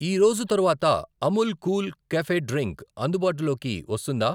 ఈరోజు తరువాత Amul cool cafe drink అందుబాటులోకి వస్తుందా?